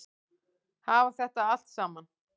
Hafa þetta allt saman?